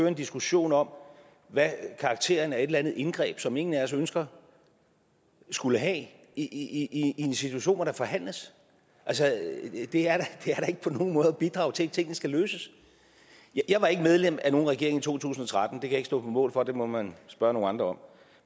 en diskussion om hvad karakteren af et eller andet indgreb som ingen af os ønsker skulle have i en situation hvor der forhandles er da ikke på nogen måde at bidrage til at tingene skal løses jeg var ikke medlem af nogen regering i to tusind og tretten det kan jeg ikke stå på mål for det må man spørge nogle andre om